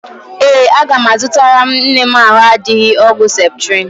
Ee, aga m azụtara nne m ahụ adịghị ọgwụ ceptrin.